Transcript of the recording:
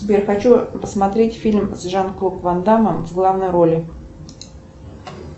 сбер хочу посмотреть фильм с жан клод ван даммом в главной роли